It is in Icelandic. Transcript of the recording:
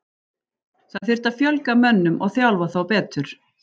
Það þyrfti að fjölga mönnum og þjálfa þá betur.